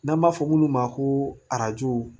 N'an b'a fɔ minnu ma ko arajo